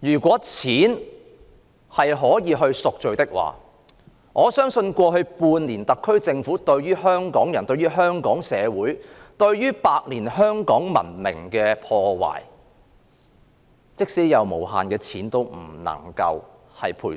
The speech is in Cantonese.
如果錢可以贖罪，我相信過去半年特區政府對於香港人、香港社會和百年香港文明的破壞，即使有無限的錢，也不能賠